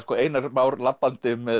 Einar Már labbandi